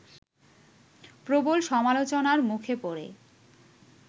প্রবল সামলোচনার মুখে পড়ে